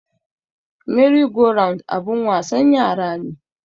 Meri go round abun wasan yara ne